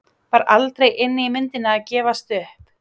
Var aldrei inni í myndinni að gefast upp?